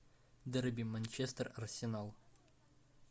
дерби манчестер арсенал